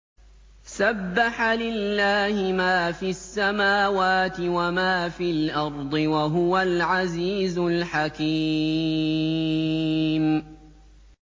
سَبَّحَ لِلَّهِ مَا فِي السَّمَاوَاتِ وَمَا فِي الْأَرْضِ ۖ وَهُوَ الْعَزِيزُ الْحَكِيمُ